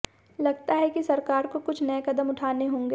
लगता है कि सरकार को कुछ नये कदम उठाने होंगे